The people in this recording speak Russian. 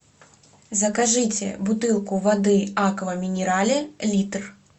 закажите бутылку воды аква минерале литр